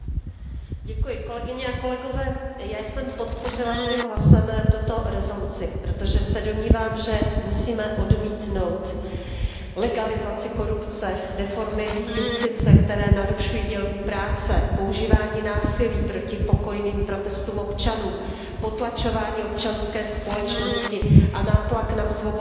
Pane předsedající, já jsem podpořila svým hlasem tuto rezoluci, protože se domnívám, že musíme odmítnout legalizaci korupce, reformy justice, které narušují dělbu práce, používání násilí proti pokojným protestům občanů, potlačování občanské společnosti a nátlak na svobodná média.